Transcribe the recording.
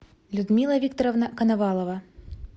людмила викторовна коновалова